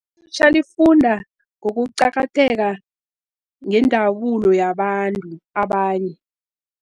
Ilutjha lifunda ngokuqakatheka ngendabulo yabantu abanye.